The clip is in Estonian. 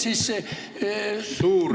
Suur aitäh!